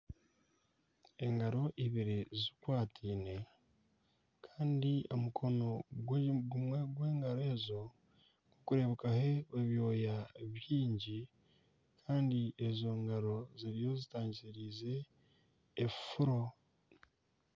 Engaro eibiri zikwataine kandi omukono gumwe gw'engaro ezo gukureebekaho ebyooya byingi kandi ezo ngaro ziriyo zitangisirize ebifuro.